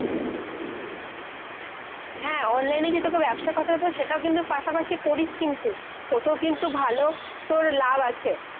হ্যাঁ, online এ যে তোকে ব্যবস্যার কথা সেটা কিন্তু পাশাপাশি করিস কিন্তু। ওতো কিন্তু ভালো তোর লাভ আছে।